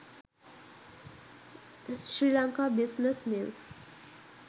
sri lanka business news